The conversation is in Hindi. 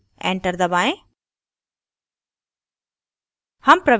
enter दबाएं